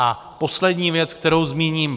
A poslední věc, kterou zmíním.